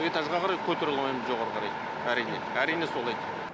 этажға қарай көтерей алмаймыз жоғарыға қарай әрине әрине солай